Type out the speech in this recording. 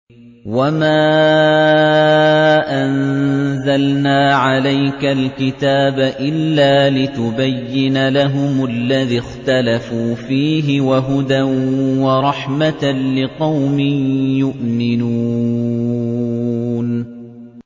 وَمَا أَنزَلْنَا عَلَيْكَ الْكِتَابَ إِلَّا لِتُبَيِّنَ لَهُمُ الَّذِي اخْتَلَفُوا فِيهِ ۙ وَهُدًى وَرَحْمَةً لِّقَوْمٍ يُؤْمِنُونَ